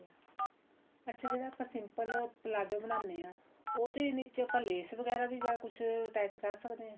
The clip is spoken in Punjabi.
ਅੱਛਾ ਜਿਹੜਾ ਆਪਾਂ simple ਪਲਾਜ਼ੋ ਬਣਾਨੇ ਆ ਉਹਦੇ ਨੀਚੇ ਆਪਾਂ ਲੈਸ ਵਗੈਰਾ ਵੀ ਜਾਂ ਕੁੱਝ attach ਕਰ ਸਕਦੇ ਹਾਂ